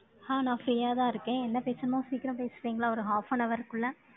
ஆஹ் நான் free யாதான் இருக்கேன். என்ன பேசணுமோ, சீக்கிரம் பேசுறீங்களா? ஒரு half an hour க்குள்ள.